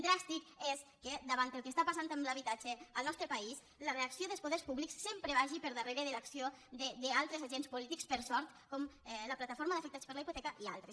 dràstic és que davant el que està passant amb l’habitatge al nostre país la reacció dels poders públics sempre vagi per darrere de l’acció d’altres agents polítics per sort com la plataforma d’afectats per la hipoteca i altres